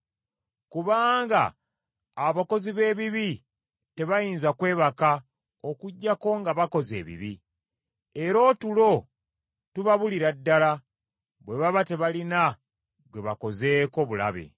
Kubanga abakozi b’ebibi tebayinza kwebaka okuggyako nga bakoze ebibi, era otulo tubabulira ddala bwe baba tebalina gwe bakozeeko bulabe.